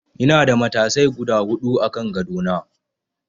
Ina da matasai guda huɗu a kan gado na.